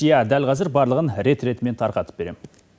иә дәл қазір барлығын рет ретімен тарқатып берем